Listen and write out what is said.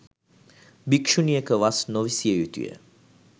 භික්‍ෂුණියක වස් නොවිසිය යුතු ය.